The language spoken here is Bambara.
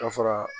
Ka fara